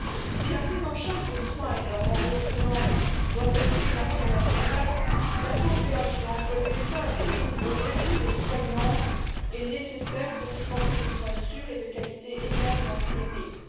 Si la prise en charge des soins et leur remboursement doivent rester une affaire nationale, la coopération entre les États à tous les niveaux, y compris les soignants, est nécessaire pour dispenser des soins sûrs et de qualité égale dans tous les pays.